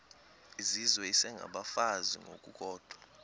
izizwe isengabafazi ngokukodwa